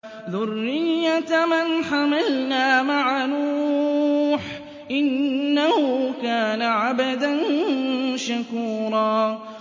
ذُرِّيَّةَ مَنْ حَمَلْنَا مَعَ نُوحٍ ۚ إِنَّهُ كَانَ عَبْدًا شَكُورًا